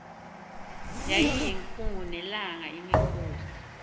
yayiyinkungu nelanga imikhosi